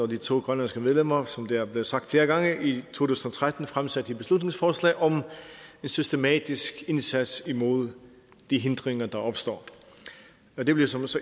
de to grønlandske medlemmer som det er blevet sagt flere gange i tusind og tretten fremsatte et beslutningsforslag om en systematisk indsats imod de hindringer der opstår det blev så